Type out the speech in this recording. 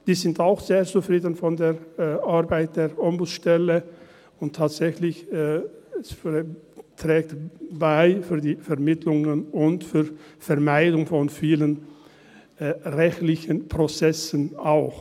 Diese sind mit der Arbeit der Ombudsstelle sehr zufrieden, und tatsächlich trägt sie zur Vermittlung und auch zur Vermeidung vieler rechtlicher Prozesse bei.